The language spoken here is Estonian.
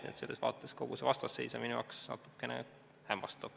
Nii et selles vaates kogu see vastasseis on minu jaoks natukene hämmastav.